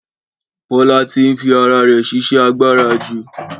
Bọ́lá ti ń fi ara rẹ̀ ṣiṣẹ́ agbára jù